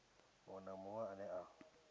munwe na munwe ane a